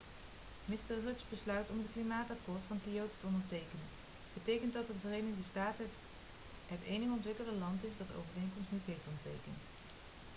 mr rudds besluit om het klimaatakkoord van kyoto te ondertekenen betekent dat de verenigde staten het enige ontwikkelde land is dat de overeenkomst niet heeft ondertekend